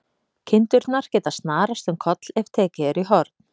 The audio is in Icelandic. Kindurnar geta snarast um koll ef tekið er í horn.